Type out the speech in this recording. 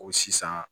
Ko sisan